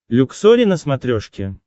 люксори на смотрешке